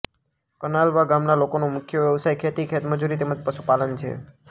કનાલવા ગામના લોકોનો મુખ્ય વ્યવસાય ખેતી ખેતમજૂરી તેમ જ પશુપાલન છે